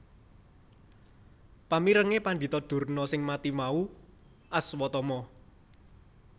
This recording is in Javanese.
Pamirenge Pandhita Durna sing mati mau Aswatama